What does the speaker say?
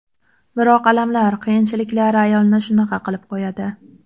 Biroq alamlar, qiyinchiliklar ayolni shunaqa qilib qo‘yadi.